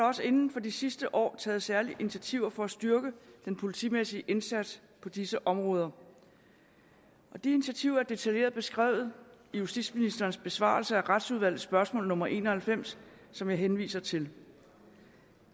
også inden for de sidste år taget særlige initiativer for at styrke den politimæssige indsats på disse områder de initiativer er detaljeret beskrevet i justitsministerens besvarelse af retsudvalgets spørgsmål nummer en og halvfems som jeg henviser til